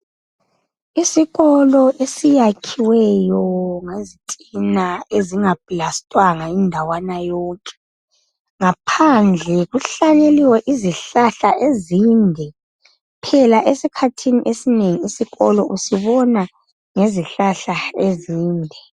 Isikolo esiyakhiweyo ngezitina ezinga pulasitiwanga indawana yonke. Ngaphandle kuhlanyeliwe izihlahla ezinde. Phela esikhathini esinengi isikolo usibona ngezihlahla ezinde.